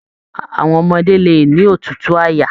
Àwọn ọmọdé lè ní òtútù àyà.